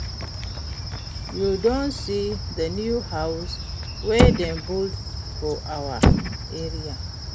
You don see the new house wey dem build for our area?